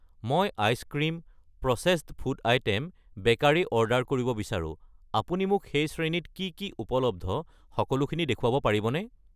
মই ice cream ,processed food item ,bakery order কৰিব বিচাৰো, আপুনি মোক সেই শ্ৰেণীত কি কি উপলব্ধ সকলোখিনি দেখুৱাব পাৰিবনে?